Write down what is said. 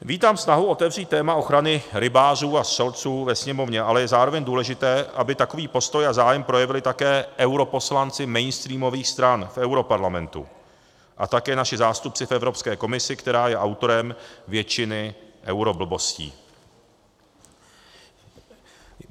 Vítám snahu otevřít téma ochrany rybářů a střelců ve Sněmovně, ale je zároveň důležité, aby takový postoj a zájem projevili také europoslanci mainstreamových stran v europarlamentu a také naši zástupci v Evropské komisi, která je autorem většiny euroblbostí.